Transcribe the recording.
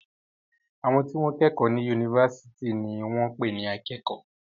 Àwọn tí wọ́n kẹ́kọ̀ọ́ ní yunifásitì ní wọ́n ń pè ní akẹ́kọ̀ọ́.